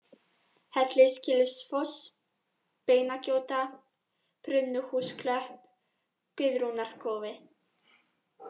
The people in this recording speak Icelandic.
Hellisgilsfoss, Beinagjóta, Brunnhúsklöpp, Guðrúnarkofi